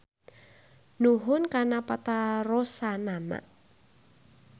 Nuhun kana patarosanana.